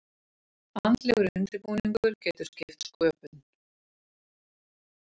Andlegur undirbúningur getur skipt sköpum.